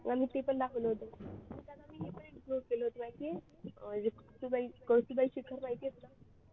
आम्ही ते पण दाखवलं होतं कळसुबाई शिखर माहिती आहे तुला